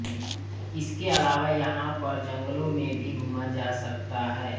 इसके अलावा यहाँ पर जंगलों में भी घूमा जा सकता है